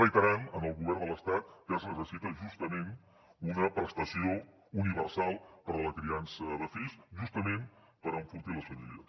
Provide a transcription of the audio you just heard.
reiterem al govern de l’estat que es necessita justament una prestació universal per a la criança de fills justament per enfortir les famílies